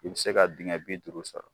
I bɛ se ka dingɛ bi duuru sɔrɔ.